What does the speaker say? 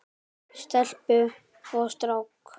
Stelpu og strák.